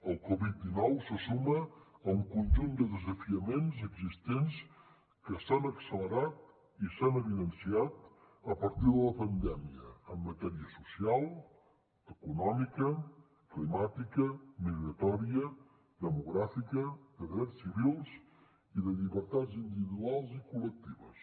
el covid dinou se suma a un conjunt de desafiaments existents que s’han accelerat i s’han evidenciat a partir de la pandèmia en matèria social econòmica climàtica migratòria demogràfica de drets civils i de llibertats individuals i col·lectives